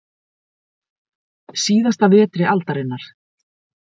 Síðasta vetri aldarinnar.